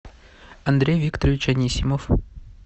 андрей викторович анисимов